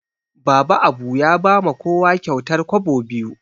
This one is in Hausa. Baba Abu ya ba ma kowa kyautar kwabo biyu